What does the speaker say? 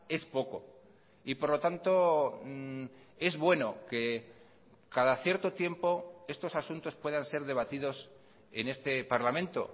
es poco y por lo tanto es bueno que cada cierto tiempo estos asuntos puedan ser debatidos en este parlamento